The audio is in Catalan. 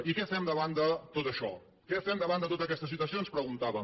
i què fem davant de tot això què fem davant de tota aquesta situació ens preguntàvem